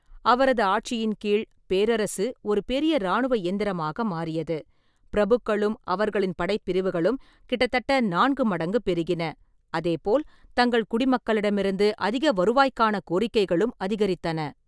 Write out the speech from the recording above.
அவரது ஆட்சியின் கீழ், பேரரசு ஒரு பெரிய இராணுவ இயந்திரமாக மாறியது, பிரபுக்களும் அவர்களின் படைப்பிரிவுகளும் கிட்டத்தட்ட நான்கு மடங்கு பெருகின, அதே போல் தங்கள் குடிமக்களிடமிருந்து அதிக வருவாய்க்கான கோரிக்கைகளும் அதிகரித்தன.